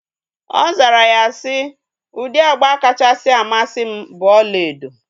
Ọ zara ya si, ụdị agba kachasị amasị m bụ ọlaedo